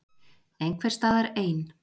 Einhvers staðar ein.